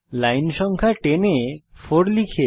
line সংখ্যা 10 এ 4 লিখুন